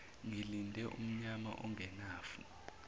ngilinde umnyama ongenafu